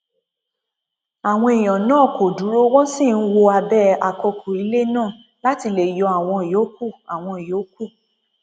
àwọn èèyàn náà kò dúró wọn sì ń wọ abẹ àkọkù ilé náà láti lè yọ àwọn yòókù àwọn yòókù